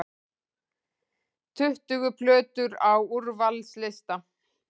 Tuttugu plötur á úrvalslista